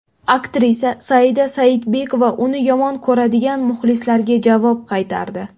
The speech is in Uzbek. Aktrisa Saida Saidbekova uni yomon ko‘radigan muxlislarga javob qaytardi.